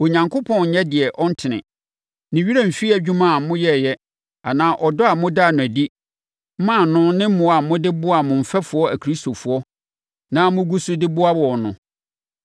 Onyankopɔn nnyɛ deɛ ɔntene. Ne werɛ remfiri adwuma a moyɛeɛ anaa ɔdɔ a modaa no adi maa no ne mmoa a mode boaa mo mfɛfoɔ Akristofoɔ na mogu so de boa wɔn no.